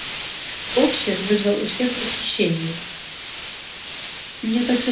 боксёр вызывал у всех восхищение